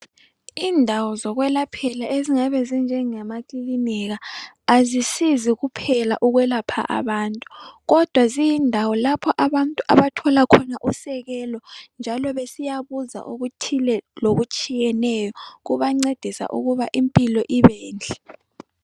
Indawo zokwelaphela ezingabe zinjengemakilinika azisizi kuphela ukwelapha abantu kodwa ziyindawo lapho abantu abathola khona usekelo njalo besiyabuza okuthile lokutshiyeneyo kubancedisa ukuba impilo ibenhle.